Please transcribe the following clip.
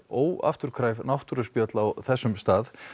óafturkræf náttúruspjöll á þessum stað